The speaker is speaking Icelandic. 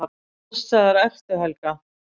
Allsstaðar ertu, Helga!